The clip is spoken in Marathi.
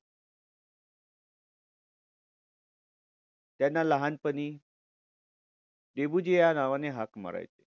त्यांना लहानपणी डेबुजी या नावाने हाक मारायचे.